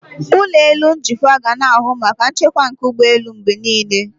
Ụlọ elu njikwa ga na-ahụ maka nchekwa nke ụgbọelu mgbe niile.